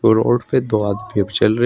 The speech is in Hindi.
रोड पे दो आदमी अब चल रहे--